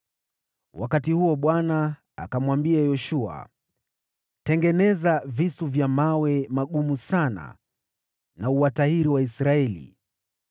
Wakati huo Bwana akamwambia Yoshua, “Tengeneza visu vya mawe magumu sana na uwatahiri Waisraeli tena.”